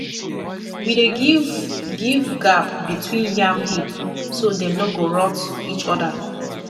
we dey give give gap between yam heap so dem no go rot each other